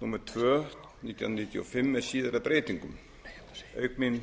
númer tvö nítján hundruð níutíu og fimm með síðari breytingum auk mín